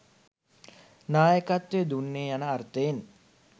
නායකත්වය දුන්නේය යන අර්ථයෙන්